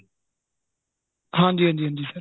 ਹਾਂਜੀ ਹਾਂਜੀ sir